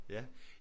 Ja